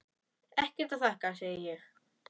Ekkert að þakka, segi ég.